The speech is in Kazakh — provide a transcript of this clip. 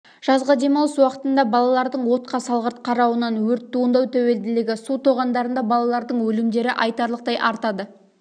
жазғы демалыс уақытында балалардың отқа салғырт қарауынан өрт туындау тәуелділігі су тоғандарында балалардың өлімдері айтарлықтай артады